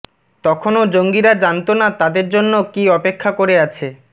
তখনও জঙ্গিরা জানত না তাদের জন্য কী অপেক্ষা করে আছে